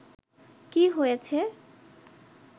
কি হয়েছে